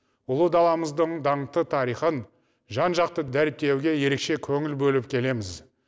ұлы даламыздың даңқты тарихын жан жақты дәріптеуге ерекше көңіл бөліп келеміз